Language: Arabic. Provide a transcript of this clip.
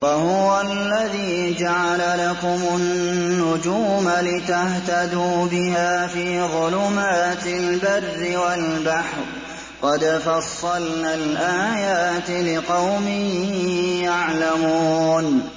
وَهُوَ الَّذِي جَعَلَ لَكُمُ النُّجُومَ لِتَهْتَدُوا بِهَا فِي ظُلُمَاتِ الْبَرِّ وَالْبَحْرِ ۗ قَدْ فَصَّلْنَا الْآيَاتِ لِقَوْمٍ يَعْلَمُونَ